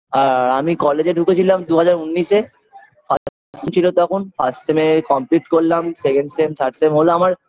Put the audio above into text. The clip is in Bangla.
আর আমি college -এ ঢুকেছিলাম দুহাজার উন্নিশে first sem -এ complete করলাম second sem third sem হল আমার